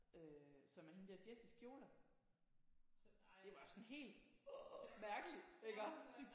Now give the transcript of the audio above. Øh som er hende der Jessies kjoler det var sådan helt hrrr mærkeligt iggå